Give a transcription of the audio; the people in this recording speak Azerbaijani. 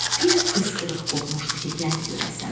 Bir fısqırıq qopmuşdu ki, gəl görəsən.